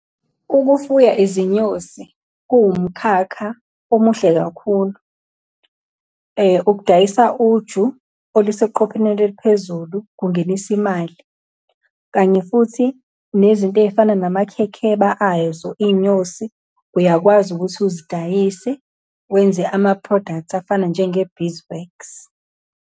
Ukufuya izinyosi kuwumkhakha omuhle kakhulu. Ukudayisa uju oluseqopheleni eliphezulu kungenisa imali, kanye futhi nezinto ey'fana namakhekheba ay'zo iy'nyosi, uyakwazi ukuthi uzidayise, wenze ama-products afana njenge-beeswax.